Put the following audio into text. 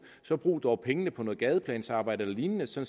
så brug dog pengene på noget gadeplansarbejde eller lignende så